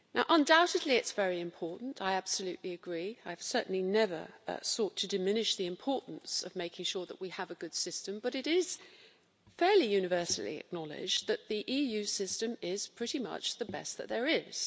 Undoubtedly it's very important, I absolutely agree, and I've certainly never sought to diminish the importance of making sure that we have a good system, but it is fairly universally acknowledged that the EU system is pretty much the best that there is.